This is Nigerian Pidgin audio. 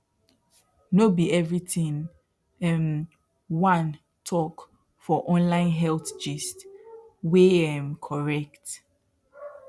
no be everything um juan talk for online health gist wey um correct